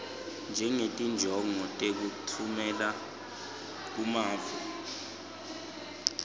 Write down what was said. ngetinjongo tekutfumela kumave